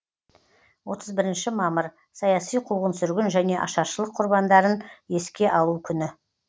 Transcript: отыз бірінші мамыр саяси қуғын сүргін және ашаршылық құрбандарын еске алу күні